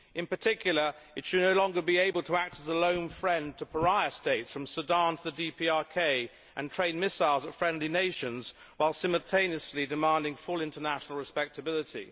In particular, China should no longer be able to act as a lone friend to pariah states from Sudan to the DPRK and train missiles at friendly nations, while simultaneously demanding full international respectability.